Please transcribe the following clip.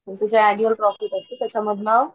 त्यांचं जे annual profit असत त्याच्या मधनं.